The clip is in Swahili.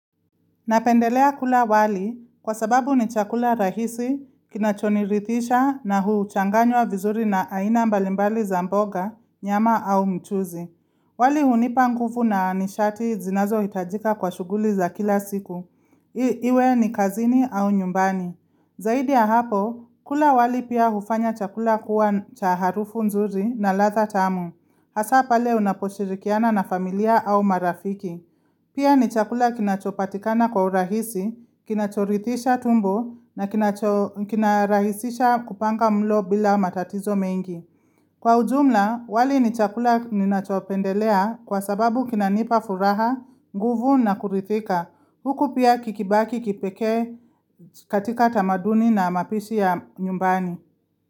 Napendelea kula wali kwa sababu ni chakula rahisi, kinachonirithisha na huchanganywa vizuri na aina mbalimbali za mboga, nyama au mchuzi. Wali hunipa nguvu na nishati zinazohitajika kwa shughuli za kila siku. Iwe ni kazini au nyumbani. Zaidi ya hapo, kula wali pia hufanya chakula kuwa cha harufu nzuri na latha tamu. Hasaa pale unaposhirikiana na familia au marafiki. Pia ni chakula kinachopatikana kwa urahisi, kinachoritisha tumbo na kinarahisisha kupanga mlo bila matatizo mengi. Kwa ujumla, wali ni chakula ninachopendelea kwa sababu kinanipa furaha, nguvu na kurithika. Huku pia kikibaki kipekee katika tamaduni na mapishi ya nyumbani.